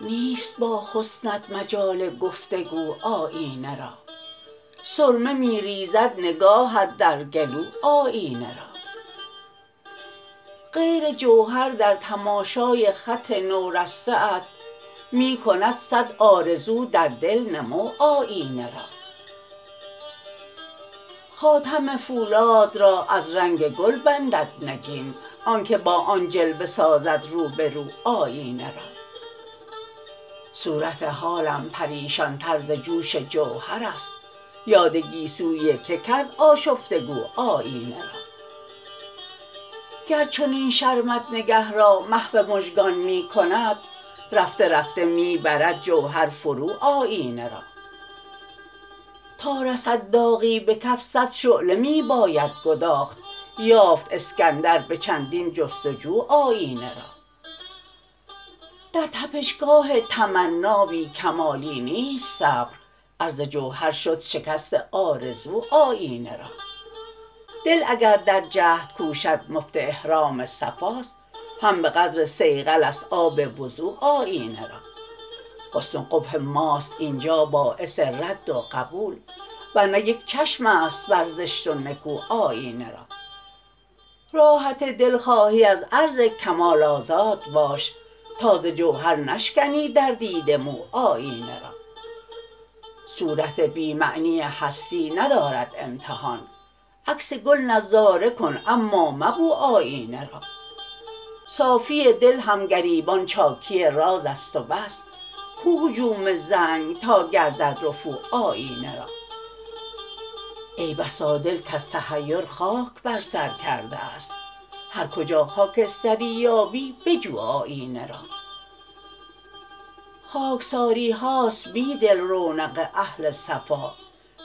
نیست با حسنت مجال گفتگو آیینه را سرمه می ریزد نگاهت در گلو آیینه را غیر جوهر در تماشای خط نورسته ات می کند صد آرزو در دل نمو آیینه را خاتم فولاد را از رنگ گل بندد نگین آنکه با آن جلوه سازد روبرو آیینه را صورت حالم پریشان تر ز جوش جوهر است یاد گیسوی که کرد آشفته گو آیینه را گر چنین شرمت نگه را محو مژگان می کند رفته رفته می برد جوهر فرو آیینه را تا رسد داغی به کف صدشعله می باید گداخت یافت اسکندر به چندین جستجو آیینه را در تپشگاه تمنا بی کمالی نیست صبر عرض جوهر شد شکست آرزو آیینه را دل اگر در جهد کوشد مفت احرام صفاست هم به قدر صیقل است آب وضو آیینه را حسن و قبح ماست اینجا باعث رد و قبول ورنه یک چشم است بر زشت و نکو آیینه را راحت دل خواهی از عرض کمال آزاد باش تا ز جوهر نشکنی در دیده مو آیینه را صورت بی معنی هستی ندارد امتحان عکس گل نظاره کن اما مبو آیینه را صافی دل هم گریبان چاکی راز است و بس کو هجوم زنگ تا گردد رفو آیینه را ای بسا دل کز تحیر خاک بر سر کرده است هر کجا خاکستری یابی بجو آیینه را خاکساری هاست بیدل رونق اهل صفا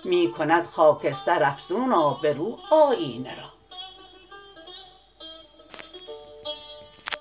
می کند خاکستر افزون آبرو آیینه را